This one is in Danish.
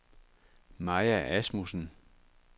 Maja Asmussen